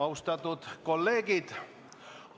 Austatud kolleegid!